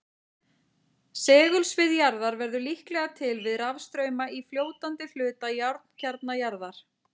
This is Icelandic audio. Segulsvið jarðar verður líklega til við rafstrauma í fljótandi hluta járnkjarna jarðar.